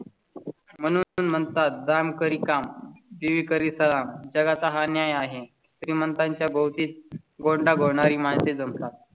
म्हणून म्हणतात दाम करी काम ती करीता जगा चा हा न्याय आहे. श्रीमंतांच्या भोवती गोंडा घोळ णारी माणसे जमतात